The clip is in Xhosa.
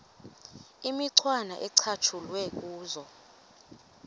imicwana ecatshulwe kuzo